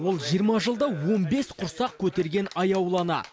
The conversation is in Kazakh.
ол жиырма жылда он бес құрсақ көтерген аяулы ана